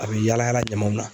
A be yala yala ɲamanw na